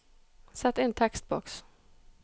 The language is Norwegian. Sett inn tekstboks